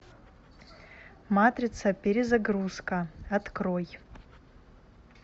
матрица перезагрузка открой